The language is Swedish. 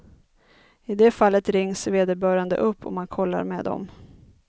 I det fallet rings vederbörande upp och man kollar med dem.